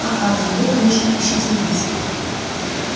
а хардин вы конечно ищете нас